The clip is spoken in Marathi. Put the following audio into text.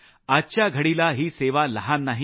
आजच्या घडीला ही सेवा लहान नाही